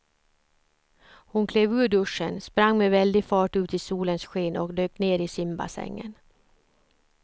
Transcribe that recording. Hon klev ur duschen, sprang med väldig fart ut i solens sken och dök ner i simbassängen.